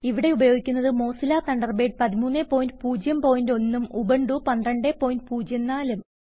ഇവിടെ ഉപയോഗിക്കുന്നത് Mozilla Thunderbird 1301 ഉം ഉബുണ്ടു 1204 ഉം